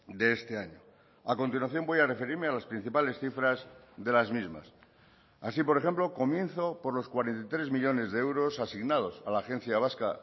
de este año a continuación voy a referirme a las principales cifras de las mismas así por ejemplo comienzo por los cuarenta y tres millónes de euros asignados a la agencia vasca